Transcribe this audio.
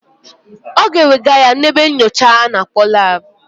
Ọ ga-ewega ya n'ebe nnyocha a na-akpọ lab.